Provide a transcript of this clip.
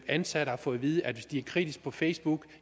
ansatte har fået at vide at hvis de er kritiske på facebook